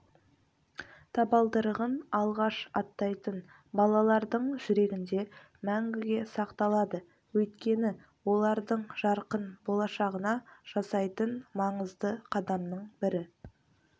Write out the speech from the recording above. табалдырығын алғаш аттайтын балалардың жүрегінде мңгіге сақталады өйткені олардың жарқын болашағына жасайтын маңызды қадамның бірі